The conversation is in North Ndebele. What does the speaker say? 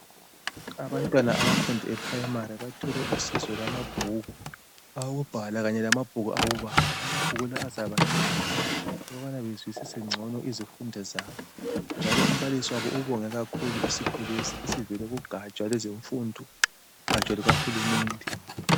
Abantwana abafunda e primary bathole usizo lwamabhuku awokubhala kanye lamabhuku awokubala amabhiku la azabancedisa ukubana bezwisise ngcono izifundo zabo njalo umbalisi wabo ubonge kakhulu isipho lesi esivela kugatsha lwezemfundo ugatsha lukahulumende